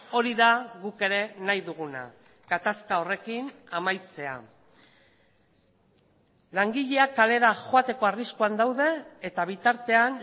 hori da guk ere nahi duguna gatazka horrekin amaitzea langileak kalera joateko arriskuan daude eta bitartean